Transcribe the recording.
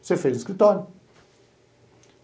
Você fez no escritório.